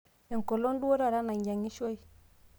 enkolong' duo taa nainyang'ishoi